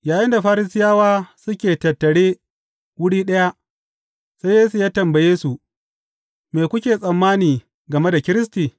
Yayinda Farisiyawa suke a tattare wuri ɗaya, sai Yesu ya tambaye su, Me kuke tsammani game da Kiristi?